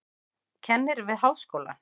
Kennir við háskólann.